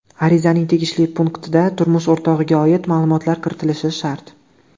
Arizaning tegishli punktida turmush o‘rtog‘iga oid ma’lumotlar kiritilishi shart.